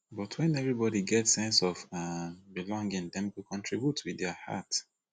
but wen everybody get sense of um belonging dem go contribute with dia heart